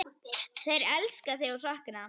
Þeir elska þig og sakna.